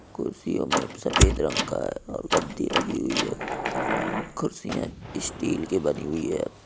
कुर्सियों में एक सफेद रंग का है और गद्दी लगी हुई है| कुर्सियाँ इस्टील की बनी हुई है।